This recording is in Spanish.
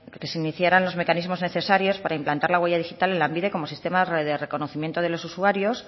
que se iniciaran los mecanismos necesarios para implantar la huella digital en lanbide como sistema de reconocimiento de los usuarios